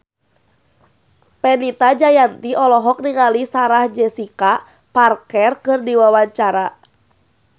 Fenita Jayanti olohok ningali Sarah Jessica Parker keur diwawancara